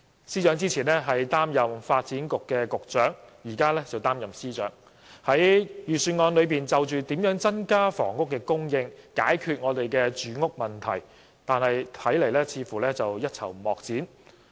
司長之前擔任發展局局長，現在則擔任財政司司長，但他在預算案中對於如何增加房屋供應，解決住屋問題，似乎一籌莫展。